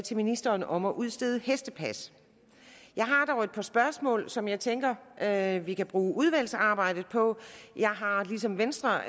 til ministeren om at udstede hestepas jeg har dog et par spørgsmål som jeg tænker at vi kan bruge udvalgsarbejdet på jeg har ligesom venstre